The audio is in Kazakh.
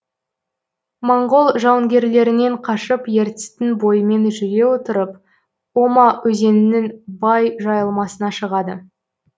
моңғол жауынгерлерінен қашып ертістің бойымен жүре отырып ома өзенінің бай жайылмасына шығады